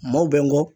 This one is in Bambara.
Maaw bɛ n kɔ